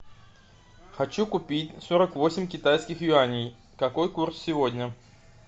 хочу купить сорок восемь китайских юаней какой курс сегодня